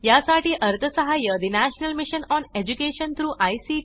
यासाठी अर्थसहाय्य national mission on education through I